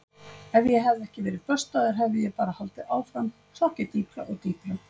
Ef ég hefði ekki verið böstaður hefði ég bara haldið áfram, sokkið dýpra og dýpra.